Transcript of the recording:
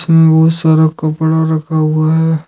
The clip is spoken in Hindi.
इसमें बहुत सारा कपड़ा रखा हुआ है।